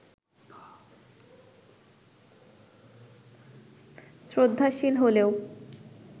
শ্রদ্ধাশীল হলেও